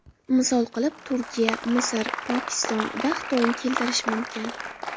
Misol qilib Turkiya, Misr, Pokiston va Xitoyni keltirish mumkin.